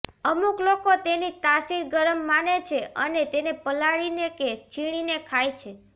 અમુક લોકો તેની તાસિર ગરમ માને છે અને તેને પલાળીને કે છીણીને ખાય છે